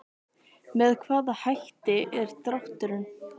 Með hvaða hætti er drátturinn?